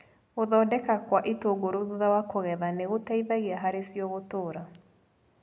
Gũthondeka kwa itũngũrũ thutha wa kũgetha nĩgũteithagia harĩcio gũtũra.